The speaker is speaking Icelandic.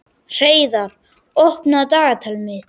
Hreiðar, opnaðu dagatalið mitt.